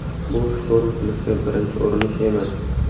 Bu shturm qilishga birinchi urinish emas.